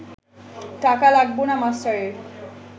টাকা লাগব না মাস্টারের